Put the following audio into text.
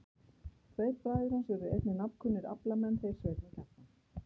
Tveir bræður hans urðu einnig nafnkunnir aflamenn, þeir Sveinn og Kjartan.